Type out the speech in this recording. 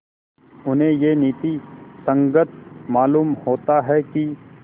उन्हें यह नीति संगत मालूम होता है कि